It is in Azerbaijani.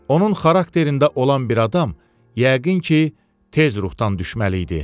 Onun xarakterində olan bir adam yəqin ki, tez ruhdan düşməli idi.